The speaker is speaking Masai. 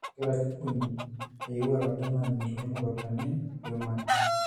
Kegira Kibini ayieu oladalani lormukutani Koiman